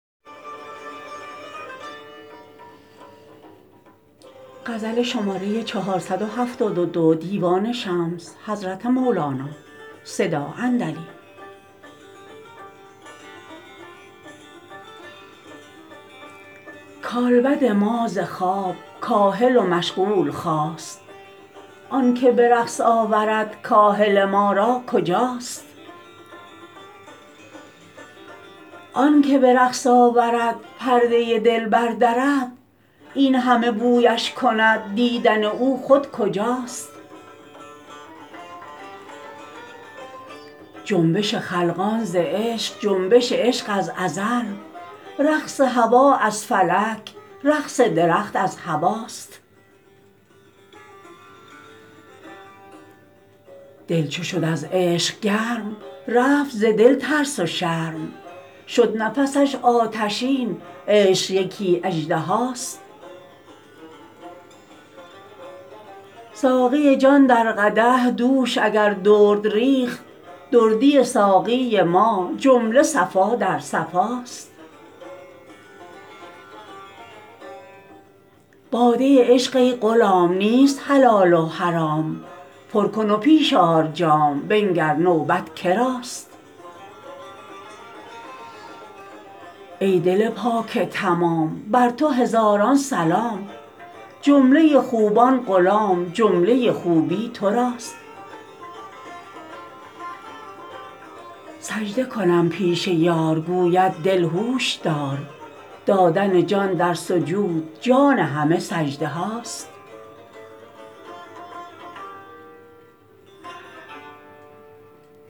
کالبد ما ز خواب کاهل و مشغول خاست آنک به رقص آورد کاهل ما را کجاست آنک به رقص آورد پرده دل بردرد این همه بویش کند دیدن او خود جداست جنبش خلقان ز عشق جنبش عشق از ازل رقص هوا از فلک رقص درخت از هواست دل چو شد از عشق گرم رفت ز دل ترس و شرم شد نفسش آتشین عشق یکی اژدهاست ساقی جان در قدح دوش اگر درد ریخت دردی ساقی ما جمله صفا در صفاست باده عشق ای غلام نیست حلال و حرام پر کن و پیش آر جام بنگر نوبت که راست ای دل پاک تمام بر تو هزاران سلام جمله خوبان غلام جمله خوبی تو راست سجده کنم پیش یار گوید دل هوش دار دادن جان در سجود جان همه سجده هاست